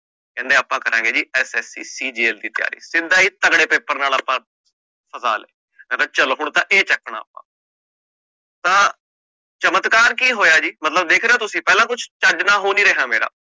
ਕਹਿੰਦੇ ਆਪਾ ਕਰਾਂਗੇ ਜੀ SSCCGL ਦੀ ਤਿਆਰੀ ਸਿੱਧਾ ਹੀ ਤਗੜੇ ਪੇਪਰ ਨਾਲ ਆਪਾ ਫਸਾ ਲਿਆ ਮੈਂ ਕਹ ਚਲ ਹੁਣ ਤਾ ਇਹ ਚੱਕਣਾ ਆਪਾ ਤਾਂ ਚਮਤਕਾਰ ਕਿ ਹੋਇਆ ਜੀ ਮਤਲਬ ਵੇਖ ਰੇ ਹੋ ਤੁਸੀਂ ਕੁਛ ਚੱਜ ਦਾ ਹੋ ਨੀ ਰਿਹਾ ਮੇਰਾ